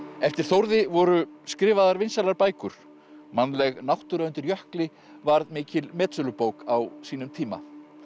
eftir Þórði voru skrifaðar vinsælar bækur mannleg náttúra undir Jökli varð mikil metsölubók á sínum tíma